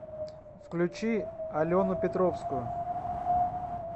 включи алену петровскую